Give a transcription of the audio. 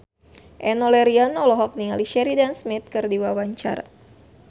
Enno Lerian olohok ningali Sheridan Smith keur diwawancara